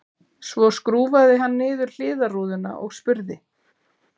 Svo skrúfaði hann niður hliðarrúðuna og spurði